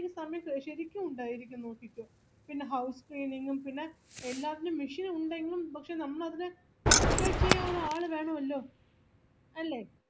ഈ സമയത്ത് ശെരിക്കും ഉണ്ടായിരിക്കും നോക്കിക്കോ പിന്നെ house cleaning ഉം പിന്നെ എല്ലാത്തിനും വിഷയമുണ്ടെങ്കില് പക്ഷെ നമ്മള് അതിനെ operate ചെയ്യാൻ ഒരാളുവേണവല്ലോ അല്ലെ